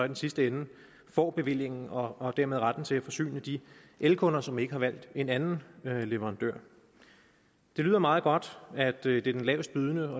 den sidste ende får bevillingen og dermed retten til at forsyne de elkunder som ikke har valgt en anden leverandør det lyder meget godt at det er den lavestbydende